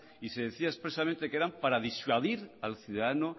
y se decía expresamente que eran para disuadir al ciudadano